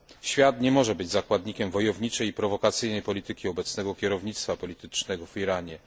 Świat nie może być zakładnikiem wojowniczej i prowokacyjnej polityki obecnego kierownictwa politycznego w Iranie.